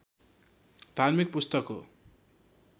धार्मिक पुस्तक हो